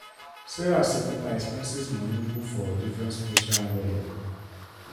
sarah seperate her expenses money put for different special envelope.